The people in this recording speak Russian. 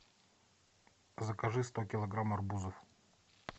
закажи сто килограмм арбузов